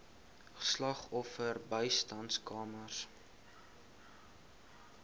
slagoffer bystandskamers